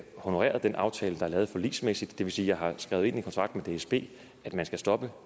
honoreret den aftale der er lavet forligsmæssigt det vil sige at jeg har skrevet ind i kontrakten med dsb at man skal stoppe